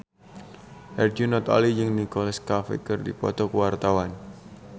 Herjunot Ali jeung Nicholas Cafe keur dipoto ku wartawan